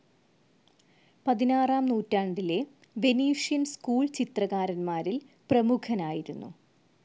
പതിനാറാം നൂറ്റാണ്ടിലെ Venetian school ചിത്രകാരന്മാരിൽ പ്രമുഖനായിരുന്നു.